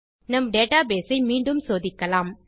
நம் டேட்டாபேஸ் ஐ மீண்டும் சோதிக்கலாம்